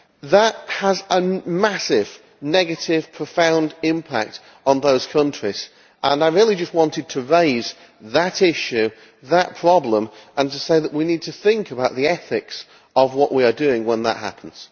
That has a massive, negative, profound impact on those countries, and I just wanted to raise that issue that problem and to say that we need to think about the ethics of what we're doing when that happens.